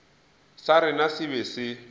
sa rena se be se